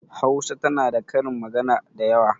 Hausa tana da karin magana dayawa.